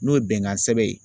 N'o ye bɛnkan sɛbɛn ye